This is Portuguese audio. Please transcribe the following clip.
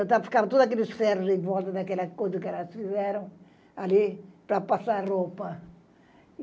ficavam todos aqueles ferros em volta daquela coisa que elas fizeram ali para passar roupa.